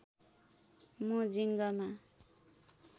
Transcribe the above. मो जिंगमा